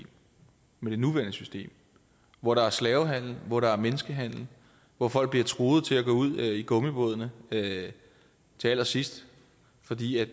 med det nuværende system hvor der er slavehandel hvor der er menneskehandel hvor folk bliver truet til at gå ud i gummibådene til allersidst fordi